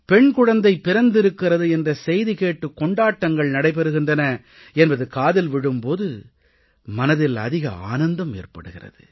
பெண் குழந்தை பிறந்திருக்கிறது என்ற செய்தி கேட்டு கொண்டாட்டங்கள் நடைபெறுகின்றன என்பது காதில் விழும் போது மனதில் அதிக ஆனந்தம் ஏற்படுகிறது